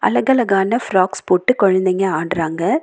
அழகழகான ஃப்ராக்ஸ் போட்டு கொழந்தைங்க ஆடுறாங்க.